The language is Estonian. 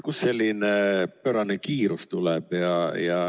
Kust selline pöörane kiirus tuleb?